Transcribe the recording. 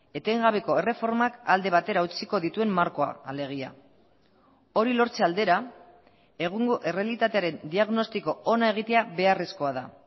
etengabeko erreformak alde batera utziko dituen markoa alegia hori lortze aldera egungo errealitatearen diagnostiko ona egitea beharrezkoa da